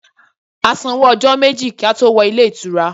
A san owó ọjọ́ méjì kí á tó wọ ilé ìtura.